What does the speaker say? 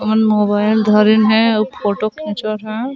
ओमन मोबाइल धरिन हे अउ फोटो खिचत हे।